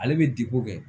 Ale bɛ diko kɛ